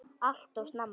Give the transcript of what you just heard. Allt of snemma.